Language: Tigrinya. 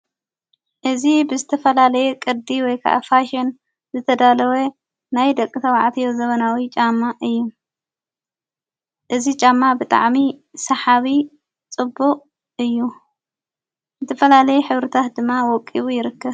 እዝ ብስተፈላለየ ቕዲ ወይከኣፋሽን ዘተዳለወ ናይ ደቕ ሰዉዓትዮ ዘበናዊ ጫማ እዩ እዝ ጫማ ብጥዕሚ ሰሓዊ ጽቡቕ እዩ ዝትፈላለየ ኅብሩታት ድማ ወቂቡ ይርከብ።